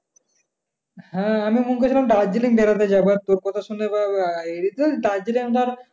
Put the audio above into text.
হ্যাঁ আমি মনে করছিলাম দার্জিলিং বেড়াতে যাব। আর তোর কথাশুনে এবার আহ ধর দার্জিলিং ধর